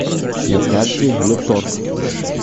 на карте лекторг